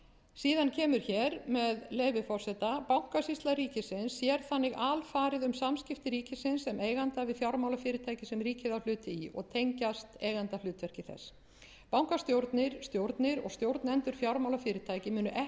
síðan kemur hér með leyfi forseta bankasýsla ríkisins sér þannig alfarið um samskipti ríkisins sem eiganda við fjármálafyrirtæki sem ríkið á hlut í og tengjast eiga ndahlutverki þess bankastjórnir stjórnir og stjórnendur fjármálafyrirtækja munu ekki